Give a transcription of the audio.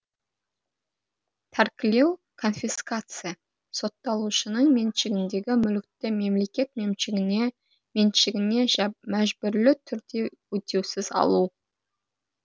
тәркілеу конфискация сотталушының меншігіндегі мүлікті мемлекет меншігіне мәжбүрлі түрде өтеусіз алу